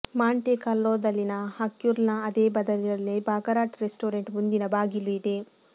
Monte ಕಾರ್ಲೋದಲ್ಲಿನ ಹರ್ಕ್ಕ್ಯುಲ್ನ ಅದೇ ಬಂದರಿನಲ್ಲಿ ಬಾಕರಾಟ್ ರೆಸ್ಟೋರೆಂಟ್ ಮುಂದಿನ ಬಾಗಿಲು ಇದೆ